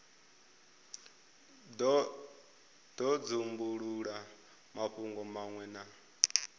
do dzumbulula mafhungo manwe na